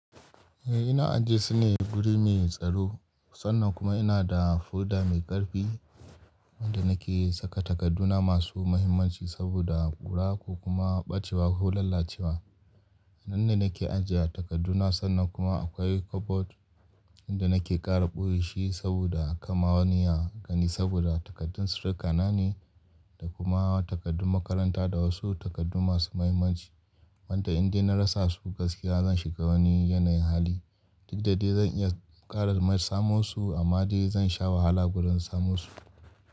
Eh ina ajiye su ne guri mai tsaro sannan kuma ina da folder mai ƙarfi wanda nake saka takadduna masu mahimmanci saboda ƙura ko kuma ɓacewa ko lalacewa. Hannun da nake ajiye takadduna sannan kuma akwai cupboard inda nake ƙara ɓoye shi saboda aka ma wani ya gani saboda takardun su ruka nan ne da kuma takardun makaranta da wasu takardu masu muhimmanci. Wanda in dai na rasa su gaskiya zan shiga wani yanayin hali. Duk da dai zan iya ƙara samo su amma dai zan sha wahala gurin samo su.